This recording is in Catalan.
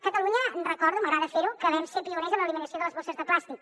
catalunya recordo m’agrada fer ho que vam ser pioners en l’eliminació de les bosses de plàstic